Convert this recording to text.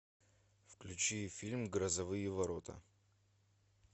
включи фильм грозовые ворота